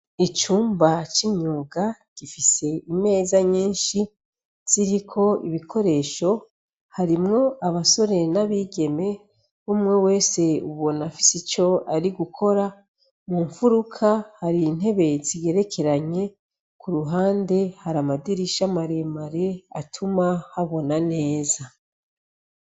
Icumba c'imyuga gifise imeza nyishi ziriko ibikoresho ,harimwo abasore n'abigeme umwe wese ubona afise ico ari gukora, mumfuruka har'intete zigerekeranye, k'uruhande har'amadirisha maremare atuma habona neza.